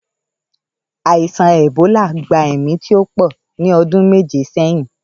Àìsàn èbólà gba èmí tíó po ní ọdún méje sẹ́yìn